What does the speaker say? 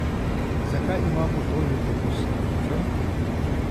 Zakaj imamo toliko poslancev?